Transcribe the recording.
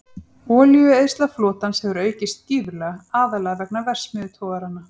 Olíueyðsla flotans hefur aukist gífurlega, aðallega vegna verksmiðjutogaranna.